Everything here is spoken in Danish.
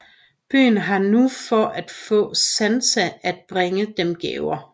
Byen har nu for at få Santa at bringe dem gaver